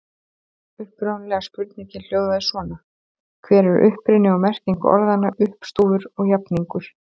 Upprunalega spurningin hljóðaði svona: Hver er uppruni og merking orðanna uppstúfur og jafningur?